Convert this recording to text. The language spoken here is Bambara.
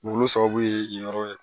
Malo sababu ye nin yɔrɔ ye